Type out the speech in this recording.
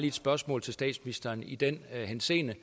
et spørgsmål til statsministeren i den henseende